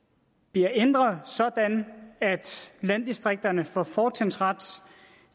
bliver ændret sådan at landdistrikterne får fortrinsret